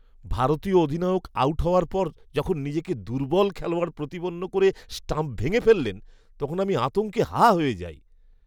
ভারতীয় অধিনায়ক আউট হওয়ার পর যখন নিজেকে দুর্বল খেলোয়াড় প্রতিপন্ন করে স্টাম্প ভেঙে ফেললেন, তখন আমি আতঙ্কে হাঁ হয়ে যাই!